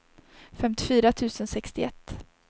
femtiofyra tusen sextioett